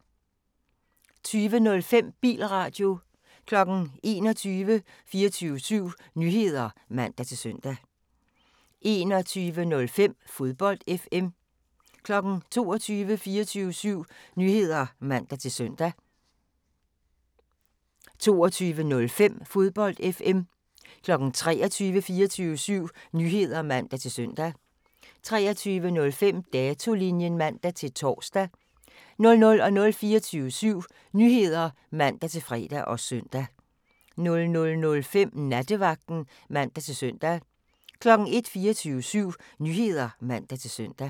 20:05: Bilradio 21:00: 24syv Nyheder (man-søn) 21:05: Fodbold FM 22:00: 24syv Nyheder (man-søn) 22:05: Fodbold FM 23:00: 24syv Nyheder (man-søn) 23:05: Datolinjen (man-tor) 00:00: 24syv Nyheder (man-fre og søn) 00:05: Nattevagten (man-søn) 01:00: 24syv Nyheder (man-søn)